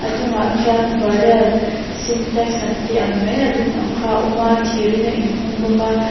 chungah khian barrel sintex an tih ang mai a dum ang kha a awm a thirin a inhung bawk a.